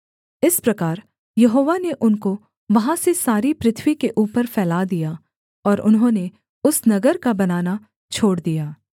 इस प्रकार यहोवा ने उनको वहाँ से सारी पृथ्वी के ऊपर फैला दिया और उन्होंने उस नगर का बनाना छोड़ दिया